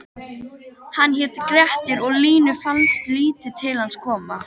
Hann hét Grettir og Línu fannst lítið til hans koma: